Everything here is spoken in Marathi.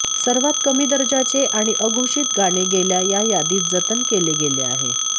सर्वात कमी दर्जाचे आणि अघोषित गाणे गेल्या या यादीत जतन केले गेले आहे